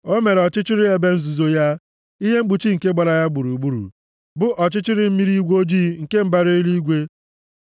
O mere ọchịchịrị ebe nzuzo ya, ihe mkpuchi nke gbara ya gburugburu, bụ ọchịchịrị mmiri igwe ojii nke mbara eluigwe.